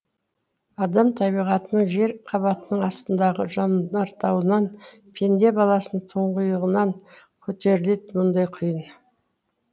адам табиғатының жер қабатының астындағы жанартауынан пенде баласының тұңғиығынан көтеріледі мұндай құйын